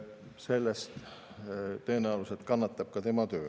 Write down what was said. Sellest tõenäoliselt kannatab tema töö.